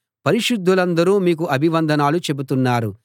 పరిశుద్ధులందరూ మీకు అభివందనాలు చెబుతున్నారు